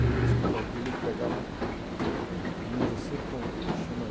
Aí no escritório dele ele pegava um, um livro assim com chamada.